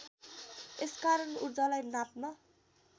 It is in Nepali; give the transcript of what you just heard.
यसकारण ऊर्जालाई नाप्न